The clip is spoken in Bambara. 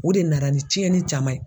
O de nara ni tiɲɛni caman ye.